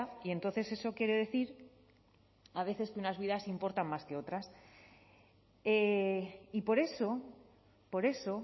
y entonces eso quiere decir a veces que unas vidas importan más que otras y por eso por eso